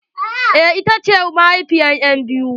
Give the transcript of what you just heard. Eh ita ce mahaifiyar enbiyu.